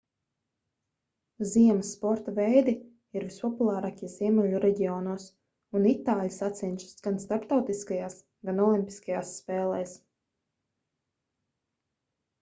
ziemas sporta veidi ir vispopulārākie ziemeļu reģionos un itāļi sacenšas gan starptautiskajās gan olimpiskajās spēlēs